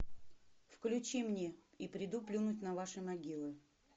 включи мне и приду плюнуть на ваши могилы